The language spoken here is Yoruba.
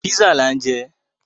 Písà là ń jẹ.